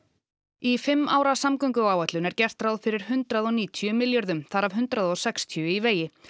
í fimm ára samgönguáætlun er gert ráð fyrir hundrað og níutíu milljörðum þar af hundrað og sextíu í vegi